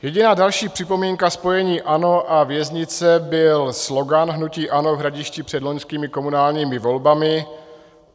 Jediná další připomínka spojení ANO a věznice byl slogan hnutí ANO v Hradišti před loňskými komunálními volbami: